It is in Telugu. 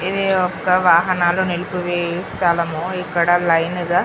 ఇదిఒక్క వాహనాలు నిలిపివేయు స్థలం ఇక్కడ లైనేగా